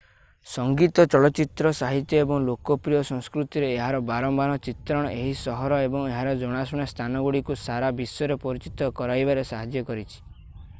ସଙ୍ଗୀତ ଚଳଚ୍ଚିତ୍ର ସାହିତ୍ୟ ଏବଂ ଲୋକପ୍ରିୟ ସଂସ୍କୃତିରେ ଏହାର ବାରମ୍ବାର ଚିତ୍ରଣ ଏହି ସହର ଏବଂ ଏହାର ଜଣାଶୁଣା ସ୍ଥାନଗୁଡ଼ିକୁ ସାରା ବିଶ୍ୱରେ ପରିଚିତ କରାଇବାରେ ସାହାଯ୍ୟ କରିଛି